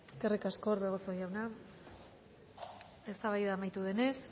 eskerrik asko orbegozo jauna eztabaida amaitu denez